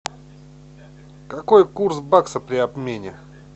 какой курс бакса при обмене